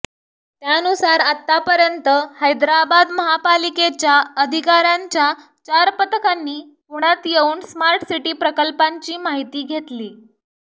त्यानुसार आत्तापर्यंत हैदराबाद महापालिकेच्या अधिकाऱ्यांच्या चार पथकांनी पुण्यात येऊन स्मार्ट सिटी प्रकल्पांची माहिती घेतली